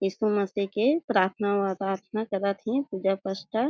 यीशु मसीह के पार्थना वराथना करत हे पूजा पसठा।